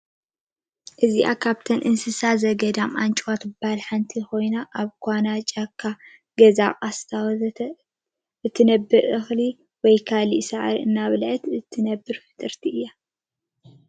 እዚአ ካብተን እንሰሳት ዘገዳም አንጭዋ ትበሃል ሐንቲ ኮይና አብ ኳና፣ ጫካ፣ ገዛ፣ ቃስታ ወዘተ እትነብር እኽሊ ወይ ካልእ ሳዕሪ እናበልዐት እትነብር ፍጡርቲ እያ።